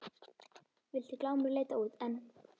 Vildi Glámur leita út en